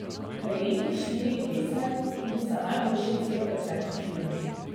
Prejemnik štirih vesen, tudi za najboljši celovečerni film.